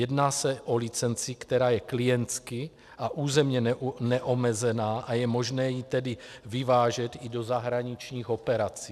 Jedná se o licenci, která je klientsky a územně neomezená, a je možné ji tedy vyvážet i do zahraničních operací.